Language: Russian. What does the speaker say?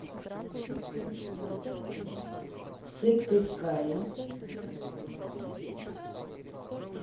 сыктывкаре